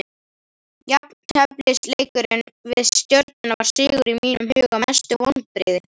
Jafnteflisleikurinn við stjörnuna var sigur í mínum huga Mestu vonbrigði?